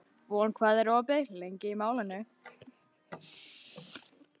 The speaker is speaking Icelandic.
Von, hvað er opið lengi í Málinu?